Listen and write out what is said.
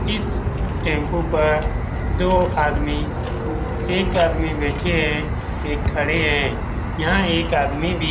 इस टेंपू पर दो आदमी एक आदमी बैठे है एक खड़े है यहां एक आदमी भी--